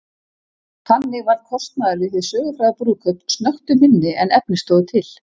Þannig varð kostnaður við hið sögufræga brúðkaup snöggtum minni en efni stóðu til.